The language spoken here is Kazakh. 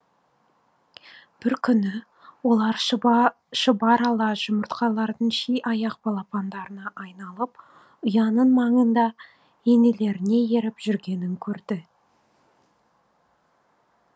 бір күні олар шұбар ала жұмыртқалардың ши аяқ балапандарға айналып ұяның маңында енелеріне еріп жүргенін көрді